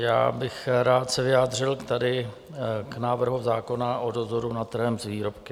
Já bych rád se vyjádřil tady k návrhu zákona o dozoru nad trhem s výrobky.